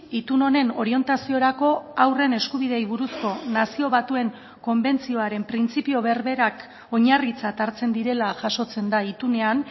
itun honen orientaziorako haurren eskubideei buruzko nazio batuen konbentzioaren printzipio berberak oinarritzat hartzen direla jasotzen da itunean